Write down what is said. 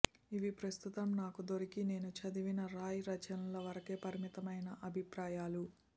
ఇవి ప్రస్తుతం నాకు దొరికి నేను చదివిన రాయ్ రచనల వరకే పరిమితమైన అభిప్రాయాలు